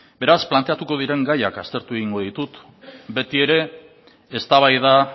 beraz planteatuko diren gaiak aztertu egingo ditut beti ere eztabaida